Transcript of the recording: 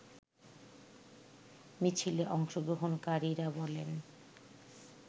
মিছিলে অংশগ্রহণকারীরা বলেন